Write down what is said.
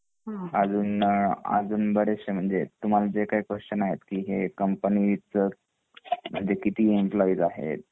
अजून बरेचशे तुम्हाला जे यही क्वेस्चन आहेत कंपनी च किती एम्प्लॉयी आहेत ?